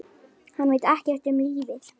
Hann veit ekkert um lífið.